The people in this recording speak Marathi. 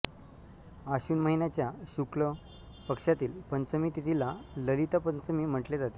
आश्विन महिन्याच्या शुक्ल पक्षातील पंचमी तिथीला ललिता पंचमी म्हटले जाते